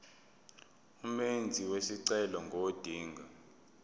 umenzi wesicelo ngodinga